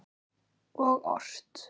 Og ort.